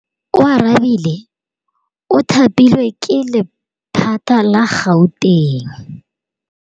Oarabile o thapilwe ke lephata la Gauteng.